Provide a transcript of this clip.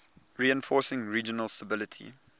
reinforcing regional stability